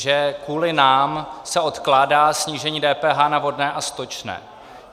, že kvůli nám se odkládá snížení DPH na vodné a stočné.